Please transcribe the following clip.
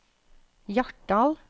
Hjartdal